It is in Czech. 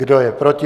Kdo je proti?